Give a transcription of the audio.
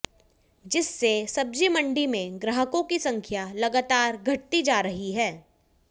जिससे सब्जीमंडी में ग्राहकों की संख्या लगातार घटती जा रही है